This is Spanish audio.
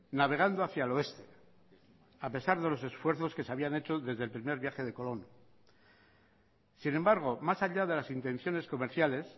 navegando hacia el oeste a pesar de los esfuerzos que se habían hecho desde el primer viaje de colón sin embargo más allá de las intenciones comerciales